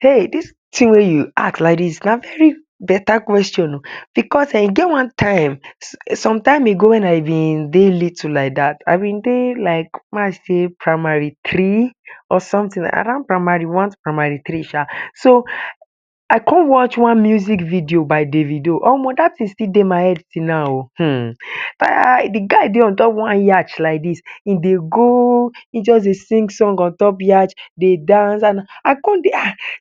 Hey dis thing wey I ask like dis na very better question oh, because um e get one time, some time ago wey I been dey little like dat, I bin dey like make I dey primary three, or something like dat, around primary one to primary three sha, so I con watch one music video by Davido Omo dat thing still dey my head till now oh[um] de guy dey unstop one yatch like dis, he dey go hin just dey sing song ontop yatch dey dance Abdu con dey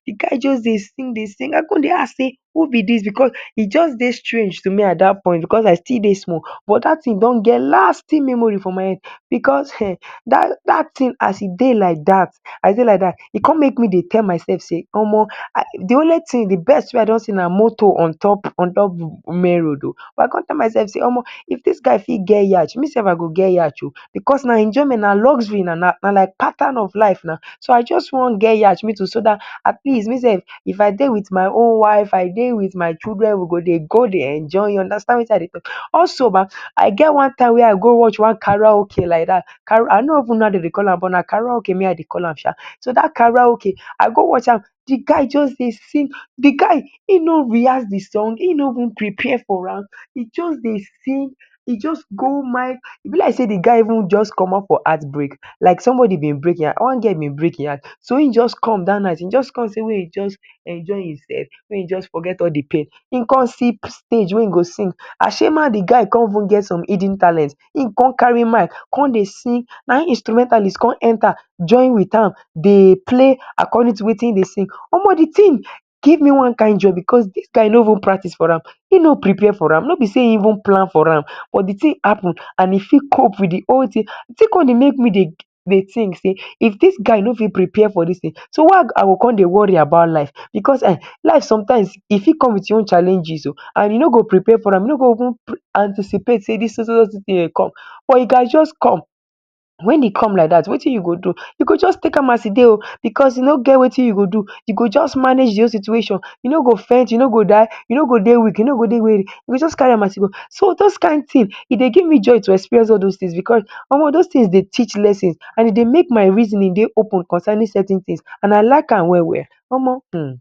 d guy just dey sing dey sing, I con dey ask dey who b dis because hin just dey strange to me at point because I still dey small, but dat thing don get lasting memory for my head, because um dat thing as e dey like dat e cin make me dey tell my self sey Omo, de only tin, de best wey I don see na motor ontop main road oh, but I con tell my self sey Omo if dis guy got get yatch me sef I go get yatch oh, because na enjoyment, na luxury na pattern of life na, so I just wan get yatch so dat aleeast me sef if I dey with my own wife I dey with my children I go dey go dey enjoy, u understand Wetin I dey talk, also I get one time wey I go watch one karaoke like dat, I no even know how den dey call am, but na karaoke na hin I dey call am sha, so dat karaoke I go watch am, de guy just dey sing, de guy hin no rehearse de song hin no even prepare for am hin just dey sing, he just hold mic, e b like dey de guy just commot for heart break, like somebody bin break hin heart, one girl bin break hin heart, so hin jus come dat night hin jus come make hin jus enjoy hin sef make he just forget all de pain, he con see stage wey hin go sing, d guy cin even get some hidden talent hin con carry mic con dey sing Ana hin instrumentalist con enter join with an dey play according to Wetin he dey sing, one de thing give me one kind joy, cause dis guy no even practice for am hin no prepare for an, no b dey hin plan for am, but de thing happen and he got cope with de whole thing, d thing con dey make me dey think sey of dis guy no fit prepare for dis thing so why I go cin dey worry about life because um life sometimes e fit come with him own challenges oh, and I no go prepare for am, u no go anticipate sey so so thing dey come, but e gatz just come, wen e come like dat Wetin you go do, u just take am as e dey o, because I no get Wetin u go do, u go jus manage d whole situation, u no go faint u no go die, u no go dey weak, u go jus carry an as e dey, so those kind thin, e dey give me joy to experience all those things because, Omo those things dey teach lessons and make my reasoning dey up on concerning certain things, and I like am well well um Omo.